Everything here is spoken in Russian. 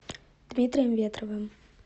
дмитрием ветровым